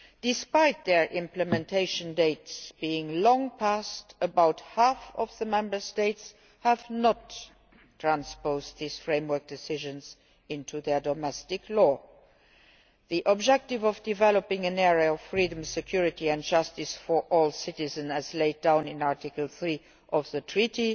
Despite the implementation dates being long past, about half of the Member States have not transposed these framework decisions into their domestic law. The objective of developing an area of freedom, security and justice for all citizens, as laid down in Article3 of the Treaty,